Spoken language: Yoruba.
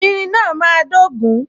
Irin náà máa dogun